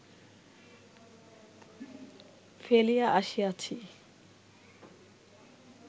ফেলিয়া আসিয়াছি